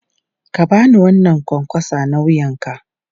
Ka ba ni wannan ƙwanƙwasa na wuyanka!